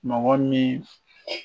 Mɔgɔ min